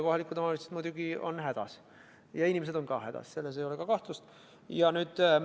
Kohalikud omavalitsused on muidugi hädas ja inimesed on samuti hädas, selles ei ole kahtlustki.